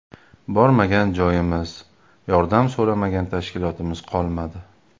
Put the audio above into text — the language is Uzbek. Bormagan joyimiz, yordam so‘ramagan tashkilotimiz qolmadi.